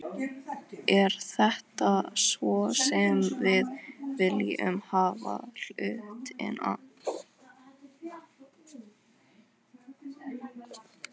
Er það svona sem við viljum hafa hlutina?